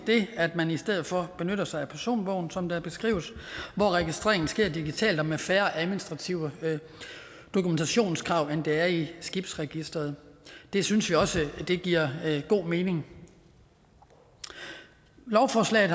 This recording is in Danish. at man i stedet for benytter sig af personbogen som det beskrives hvor registreringen sker digitalt og med færre administrative dokumentationskrav end der er i skibsregisteret det synes vi også giver god mening lovforslaget